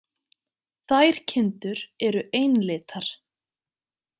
Þær kindur eru einlitar.